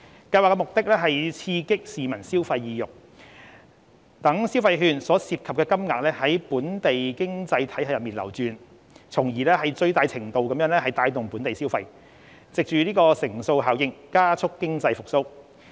計劃的目的是刺激市民消費意欲，讓消費券所涉及的金額在本地經濟體系內流轉，從而最大程度帶動本地消費，藉乘數效應加速經濟復蘇。